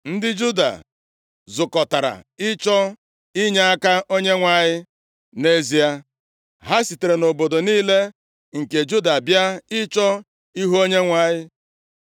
Ndị Juda zukọtara ịchọ inyeaka Onyenwe anyị; nʼezie, ha sitere nʼobodo niile nke Juda bịa ịchọ ihu Onyenwe anyị.